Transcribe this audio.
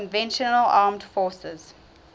conventional armed forces